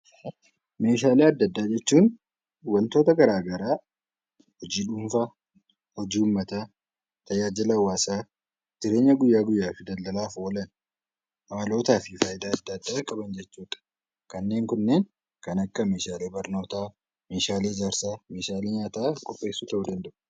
Meeshaalee adda addaa jechuun wantoota gara garaa hojii dhuunfaa, hojii uummataa, tajaajila hawaasaa, jireenya guyyaa guyyaaf daldalaaf oolan haalotaa fi faayidaa adda addaa qaban jechuu dha. Kanneen kunneen kan akka meeshaalee barnootaa, meeshaalee ijaarsaa, meeshaalee nyaata qopheessuuf ta'uu danda'u.